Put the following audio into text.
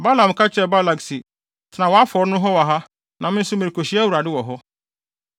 Balaam ka kyerɛɛ Balak se, “Tena wʼafɔre no ho wɔ ha na me nso merekohyia Awuradewɔ hɔ.”